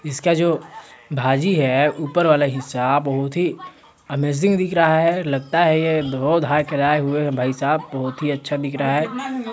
इसका जो भाजी है ऊपर वाला हिस्सा बहुत ही अमैजिंग दिख रहा है लगता है ये धो धा के लाये हुए है भाई साहब बहुत ही अच्छा दिख रहा है।